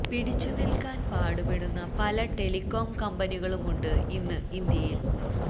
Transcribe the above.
പിടിച്ചു നില്ക്കാന് പാടുപെടുന്ന പല ടെലികോം കമ്പനികളുമുണ്ട് ഇന്ന് ഇന്ത്യയില്